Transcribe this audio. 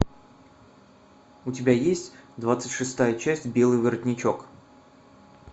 у тебя есть двадцать шестая часть белый воротничок